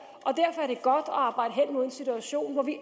og en situation hvor vi